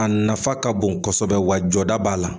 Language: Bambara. A nafa ka bon kosɛbɛ wa jɔda b'a la